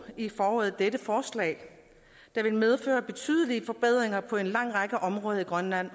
i foråret dette forslag der vil medføre betydelige forbedringer på en lang række områder i grønland